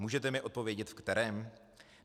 Můžete mi odpovědět v kterém?